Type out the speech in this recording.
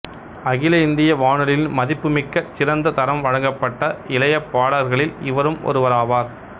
அகில இந்திய வானொலியின் மதிப்புமிக்க சிறந்த தரம் வழங்கப்பட்ட இளைய பாடகர்களில் இவரும் ஒருவராவார்